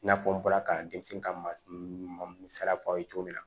I n'a fɔ n bɔra ka denmisɛnnin ka masala f'a ye cogo min na